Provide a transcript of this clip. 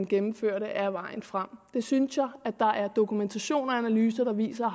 gennemfører det er vejen frem det synes jeg at der er dokumentation på og analyser der viser